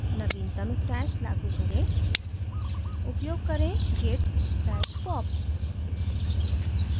नवीनतम stash लागू करें